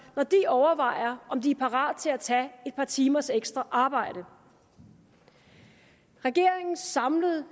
når de overvejer om de er parat til at tage et par timers ekstra arbejde regeringens samlede